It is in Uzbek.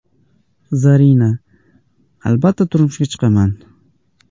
Zarina: Albatta turmushga chiqaman.